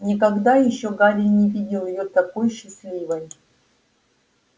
никогда ещё гарри не видел её такой счастливой